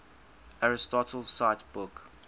aristotle cite book